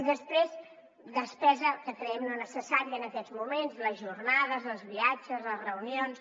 i després despesa que creiem no necessària en aquests moments les jornades els viatges les reunions